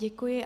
Děkuji.